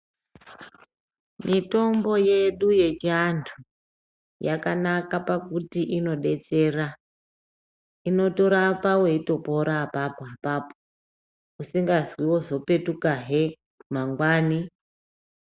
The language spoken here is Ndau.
Mitombo yedu yechiantu yakanaka pakuti inodetsera inotorapa weitopora apapo apapo usingazwi wozopetuka he mangwani.